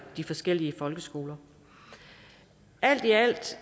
de forskellige folkeskoler alt i alt